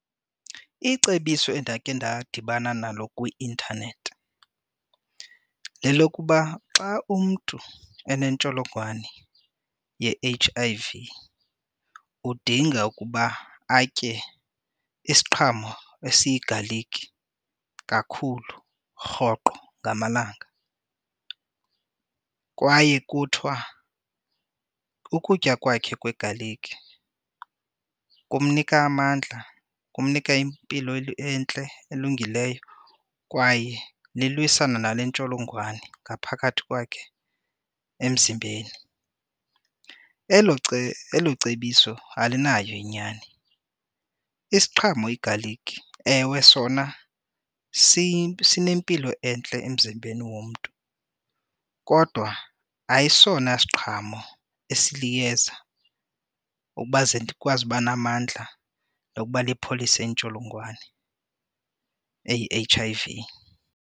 Icebiso endakhe ndadibana nalo kwi-intanethi lelokuba xa umntu onentsholongwane ye-H_I_V, udinga ukuba atye isiqhamo esiyigalikhi kakhulu, rhoqo ngamalanga kwaye kuthiwa ukutya kwakhe kwegalikhi kumnika amandla, kumnika impilo entle elungileyo kwaye lilwisana nale ntsholongwane ngaphakathi kwakhe emzimbeni. Elo elo cebiso alinayo inyani. Isiqhamo igalikhi, ewe sona sinempilo entle emzimbeni womntu, kodwa ayisona siqhamo esiliyeza ukuba ze ndikwazi uba namandla lokuba lipholise intsholongwane eyi-H_I_V.